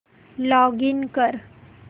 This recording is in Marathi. लॉगिन कर